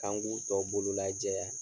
K'an k'u tɔ bolo lajɛya.